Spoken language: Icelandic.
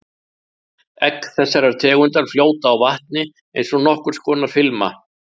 Egg þessarar tegundar fljóta á vatni eins og nokkurs konar filma.